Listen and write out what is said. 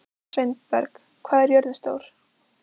Sveinberg, hvað er jörðin stór?